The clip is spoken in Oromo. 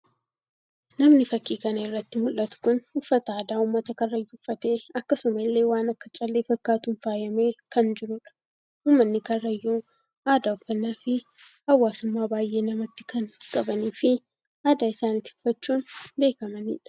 Namni fakkii kana irratti mul'atu kun uffata aadaa uummata karrayyuu uuffatee akkasuma illee waan akka callee fakkaatuun faayamee kan jirudha. Ummanni karayyuu aadaa uffannaa fi hawaasummaa baayye namatti kan qabanii fi aadaa isaanii tifkachuun beekamanidha.